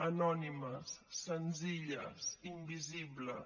anònimes senzilles invisibles